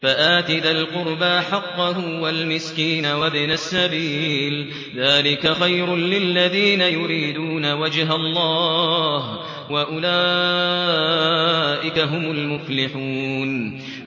فَآتِ ذَا الْقُرْبَىٰ حَقَّهُ وَالْمِسْكِينَ وَابْنَ السَّبِيلِ ۚ ذَٰلِكَ خَيْرٌ لِّلَّذِينَ يُرِيدُونَ وَجْهَ اللَّهِ ۖ وَأُولَٰئِكَ هُمُ الْمُفْلِحُونَ